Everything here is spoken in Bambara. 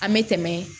An bɛ tɛmɛ